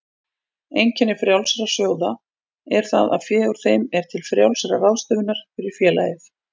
Einkenni frjálsra sjóða er það að fé úr þeim er til frjálsrar ráðstöfunar fyrir félagið.